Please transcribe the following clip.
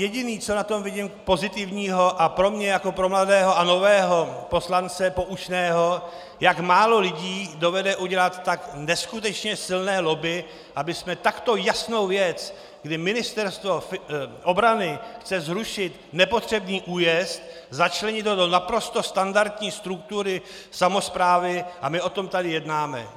Jediné, co na tom vidím pozitivního a pro mě jako pro mladého a nového poslance poučného, jak málo lidí dovede udělat tak neskutečně silné lobby, abychom takto jasnou věc, kdy Ministerstvo obrany chce zrušit nepotřebný újezd, začlenit ho do naprosto standardní struktury samosprávy, a my o tom tady jednáme.